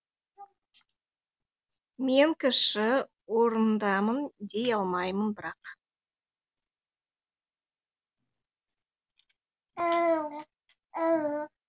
мен кіші орнындамын дей алмаймын бірақ